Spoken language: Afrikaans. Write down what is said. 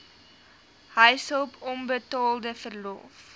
huishulp onbetaalde verlof